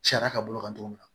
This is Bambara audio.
Sariya ka bolo kan cogo min na